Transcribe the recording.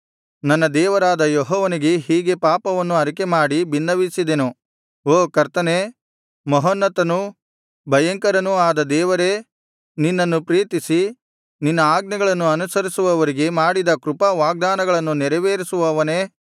ನನ್ನ ದೇವರಾದ ಯೆಹೋವನಿಗೆ ಹೀಗೆ ಪಾಪವನ್ನು ಅರಿಕೆ ಮಾಡಿ ಬಿನ್ನವಿಸಿದೆನು ಓ ಕರ್ತನೇ ಮಹೋನ್ನತನೂ ಭಯಂಕರನೂ ಆದ ದೇವರೇ ನಿನ್ನನ್ನು ಪ್ರೀತಿಸಿ ನಿನ್ನ ಆಜ್ಞೆಗಳನ್ನು ಅನುಸರಿಸುವವರಿಗೆ ಮಾಡಿದ ಕೃಪಾ ವಾಗ್ದಾನಗಳನ್ನು ನೆರವೇರಿಸುವವನೇ